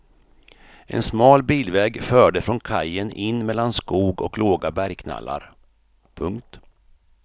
En smal bilväg förde från kajen in mellan skog och låga bergknallar. punkt